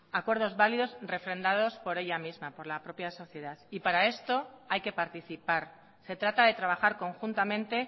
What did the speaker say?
acuerdos válidos refrendados por ella misma por la propia sociedad para esto hay que participar se trata de trabajar conjuntamente